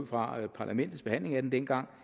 fra parlamentets behandling af den dengang